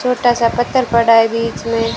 छोटा सा पत्थर पड़ा है बीच में--